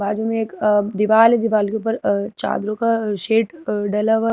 जो एक दीवाल है दीवाल के ऊपर चादरों का शेड डाला हुआ है।